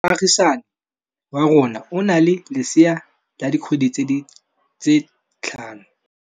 Moagisane wa rona o na le lesea la dikgwedi tse tlhano.